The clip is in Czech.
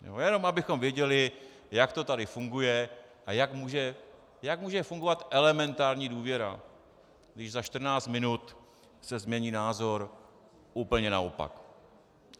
Jenom abychom věděli, jak to tady funguje a jak může fungovat elementární důvěra, když za 14 minut se změní názor úplně naopak.